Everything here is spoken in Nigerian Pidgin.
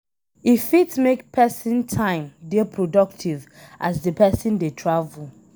E fit make person time dey productive as di person dey travel